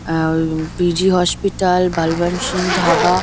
A um PG. Hospital Balbir Singh dhaba--